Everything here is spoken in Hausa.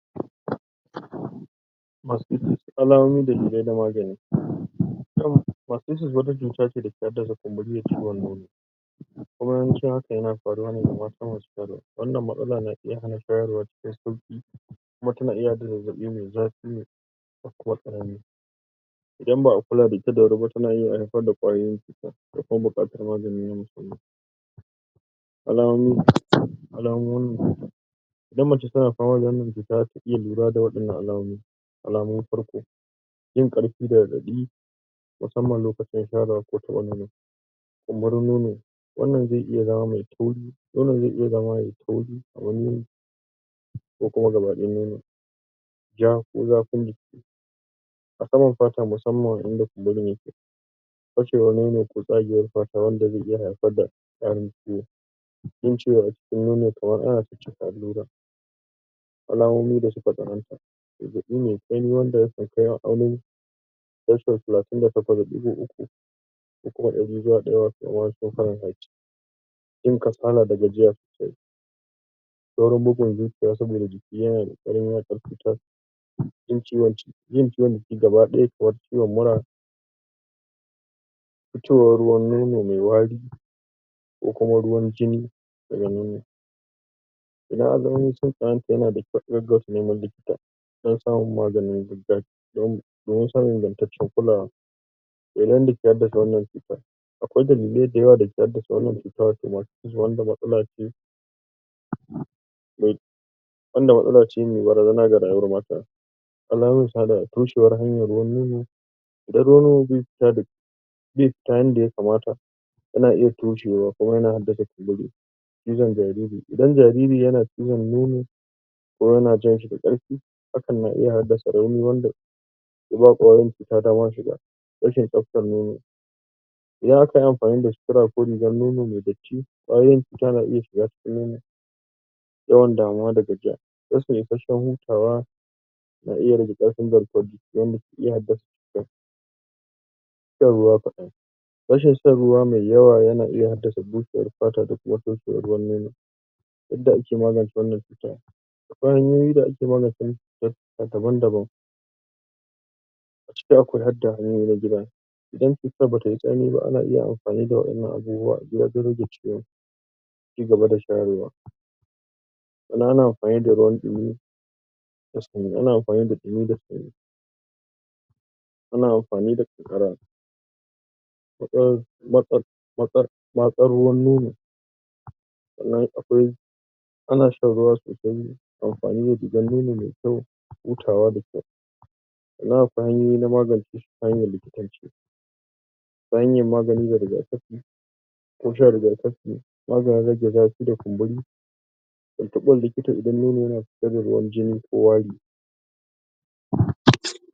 Mastitis alamomi dalilai da magani. Mastitis wata cutace dake hassada kunburi da ciwon nono, kuma yawanci haka yana faruwane ga mata masu shayarwa, wannan matsala na iya hana shayarwa cikin sauki, kuma tana iya haddasa zazzabi mai zafi, da kuma tari idan ba’a kula da ita da wuriba tana iya harfar da ƙwayoyin cuta akwai buƙatan magani alamomi, alamomin idan mace tana fama da wannan cuta zata iya lura da wa’innan alamomi. Alama na farko; yin karfi da raɗaɗi musamman lokacin shayarwa ko taɓa nono, kumburin nono, nonon zai iya zama me tauri, nonon zai iya zama yayi tauri nauyi ko kuma gaba ɗaya nono, ja ko zafin jiki a saman fata musamman wajan da kunburin yake fashewa nono ko tsagewan fata wanda ze iya haifar da ƙarin ciwon jin ciwo acikin nono kaman ana caccaka allura alamomin da suka tsananta zazzabi me sanyi wanda yake maaunin shashol talatin da takwas da ɗigo uku 38.3 ko kuma ɗari ba ɗaya 99 wato faranhait, jin kasala da gajiya sosai, saurin bugun zuciya saboda jiki yanada saurin yada cuta, yin ciwon jiki gaba ɗaya kaman ciwon mura, futowon ruwan nono me wari kokuma ruwan jinni daga nono, idan anga wani abu kaman haka yana da kyau agaggauta neman likita dan samun magani domin samun ingantaccan kulawa, Dalilan da ke haddasa wannan cuta; akwai dalilan dayawa dake haddasa wannan cuta mastitis wanda matsala ce me barazana ga rayuwan mata. Alamansa da toshewar hanya ruwan nono, idan ruwan befita ruwan befita yanda ya kamata, yana iya toshewa kuma yana haddasa kunburi, cizon jariri idan jariri yana cizon nono, ko yana jan shi da ƙarfi hakan na iya haddasa rauni wanda ke ba ƙwayar cuta dama shiga, rashn tsaftan nono; idan akayi amfani da sitira ko rigan nono me datti, ƙwayoyin cuta na iya shiga cikin nono. Yawan damuwa da gajiya; rashi isasshen hutawa na iya rage ƙarfin garkuwan jiki wanda ke iya haddasa cutan, shan ruwa kaɗan; rashin shan ruwa me yawa yana iya haddasa bushewan fata da kuma toshewan ruwan nono. Yadda ake magance wannan cuta: akwai honyoyin da ake maganin wannan cuta daban daban, acikin akwai hadda hanyoyi na gida idan cutan ba tayi tsauri ba ana iya amfani da wayannan abubuwa a gida don rage ciwon, a ci gaba da shayarwa sannan ana amfani da ruwan dumi da na sanyi ana amfani da ƙanƙara matsan ruwan nono, sannan akwai ana shan ruwa sosai, amfani da rigan nono mai kyau, hutawa da kyau. Sannan akwai honyoyi na magance shi ta hanyan likitanci, ta hanya magani da rigakafi ko shan rigakafi maganin rage zafi da kunburi, da tintiɓa likita idan nono yanafitar da ruwan jini ko wari.